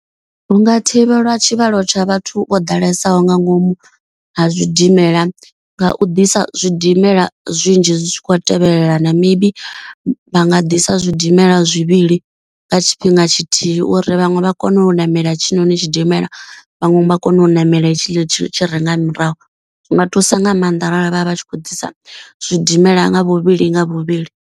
Hu nga thivhelwa tshivhalo tsha vhathu vho ḓalesaho nga ngomu ha zwidimela nga u ḓisa zwidimela zwinzhi zwi tshi khou tevhelelana. Maybe vha nga ḓisa zwidimela zwivhili nga tshifhinga tshithihi. Uri vhaṅwe vha kone u ṋamela tshiṋoni tshidimela vhaṅwe vha kone u ṋamela hetshi tshi tshi renga murahu. Zwi nga thusa nga maanḓa arali vha vha vha tshi khou ḓisa zwidimela nga vhuvhili nga vhuvhili.